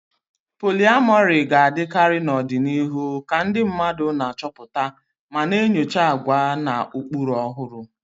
Polyamory ga-adịkarị n'ọdịnihu ka ndị mmadụ na-achọpụta ma na-enyocha àgwà na ụkpụrụ ọhụrụ.